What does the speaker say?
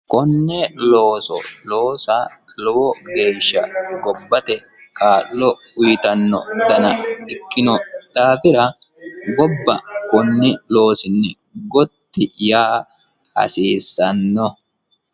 Konne looso loosa lowo geesha gobbate kaa'lo uyittano Dana ikkino daafira gobba konni loosini Gotti yaa hasisanno